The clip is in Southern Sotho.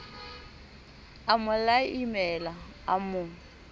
a mo laimela a mo